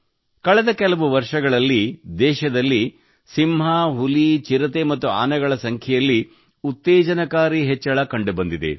ಕಳೆದ ಕೆಲವು ವರ್ಷಗಳಲ್ಲಿ ದೇಶದಲ್ಲಿ ಸಿಂಹಗಳು ಹುಲಿಗಳು ಚಿರತೆಗಳು ಮತ್ತು ಆನೆಗಳ ಸಂಖ್ಯೆಯಲ್ಲಿ ಉತ್ತೇಜನಕಾರಿ ಹೆಚ್ಚಳ ಕಂಡುಬಂದಿದೆ